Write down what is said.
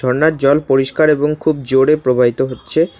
জল পরিষ্কার এবং খুব জোরে প্রবাহিত হচ্ছে।